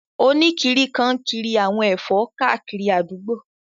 Oníkiri kan n kiri àwọn ẹ̀fọ́ káàkiri àdúgbò